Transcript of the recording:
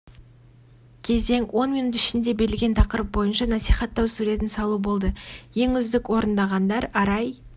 кезең он минут ішінде берілген тақырып бойынша насихаттау суретін салу болды ең үздік орындағандар арай